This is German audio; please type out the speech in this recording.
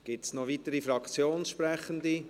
Gibt es noch weitere Fraktionssprechende?